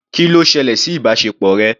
Kí ló ṣẹlẹ̀ sí ìbáṣepọ̀ rẹ?